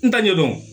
N t'a ɲɛdɔn